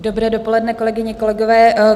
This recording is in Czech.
Dobré dopoledne, kolegyně, kolegové.